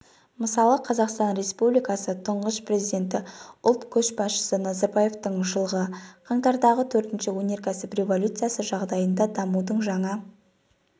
мысалы қазақстан республикасы тұңғыш президенті ұлт көшбасшысы назарбаевтың жылғы қаңтардағы төртінші өнеркәсіп революциясы жағдайында дамудың жаңа